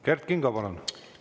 Kert Kingo, palun!